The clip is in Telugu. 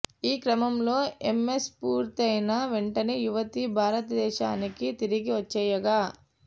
ఈ క్రమంలో ఎంఎస్ పూర్తయిన వెంటనే యువతి భారతదేశానికి తిరిగి వచ్చేయగా